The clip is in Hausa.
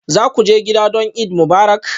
Za ku je gida don Eid Mubarak?